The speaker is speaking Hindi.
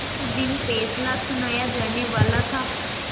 जिस दिन फैसला सुनाया जानेवाला था